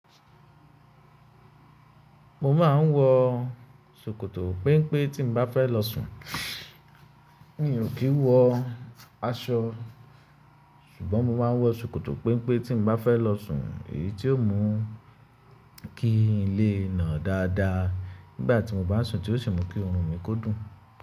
Mo máa ń wọ sòkòtò péńpé tí mo bá fẹ́ lọ sùn. Mi ò kí ń wọ aṣọ ṣùgbọ́n mo máa ń wọ sòkòtò péńpé tí n bá fẹ́ lọ sùn èyí tí ó mú kí n lè na dáda nígbà tí mo bá sùn tí ó sì mú kí orun mi kódùn.